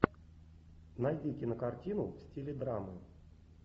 найди кинокартину в стиле драмы